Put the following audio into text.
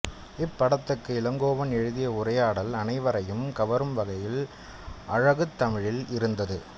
இப்படத்துக்கு இளங்கோவன் எழுதிய உரையாடல் அனைவரையும் கவரும்வகையில் அழகுத் தமிழில் இருந்தது